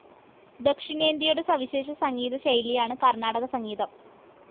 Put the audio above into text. ദക്ഷിണേന്ത്യയുടെ സവിശേഷ സംഗീതശൈലിയാണ് കർണാടകസംഗീതം.